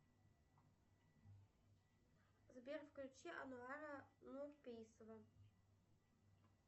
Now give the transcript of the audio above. сбер включи ануара нуйпейсова